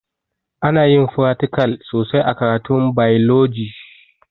Anayin fratikal sosai a karatun bailoji